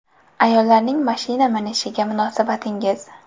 Ayollarning mashina minishiga munosabatingiz?